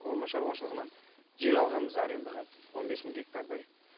орман шаруашылығынан жер алғанбыз арендаға он бес мың гектардай